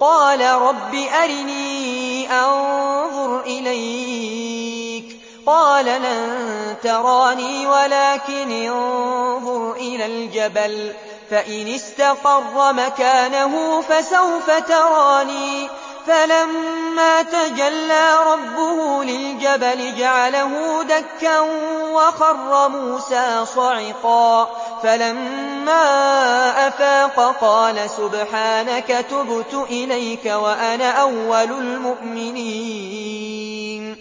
قَالَ رَبِّ أَرِنِي أَنظُرْ إِلَيْكَ ۚ قَالَ لَن تَرَانِي وَلَٰكِنِ انظُرْ إِلَى الْجَبَلِ فَإِنِ اسْتَقَرَّ مَكَانَهُ فَسَوْفَ تَرَانِي ۚ فَلَمَّا تَجَلَّىٰ رَبُّهُ لِلْجَبَلِ جَعَلَهُ دَكًّا وَخَرَّ مُوسَىٰ صَعِقًا ۚ فَلَمَّا أَفَاقَ قَالَ سُبْحَانَكَ تُبْتُ إِلَيْكَ وَأَنَا أَوَّلُ الْمُؤْمِنِينَ